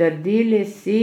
Trdili si,